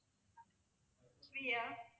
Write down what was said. Priya